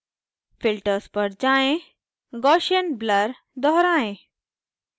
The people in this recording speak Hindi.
filters पर जाएँ guassian blur दोहराएं